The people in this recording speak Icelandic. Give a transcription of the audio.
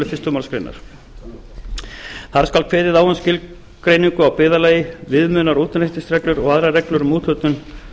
fyrstu málsgrein þar skal kveðið á um skilgreiningu á byggðarlagi viðmiðunar og útreikningsreglur og aðrar reglur um úthlutun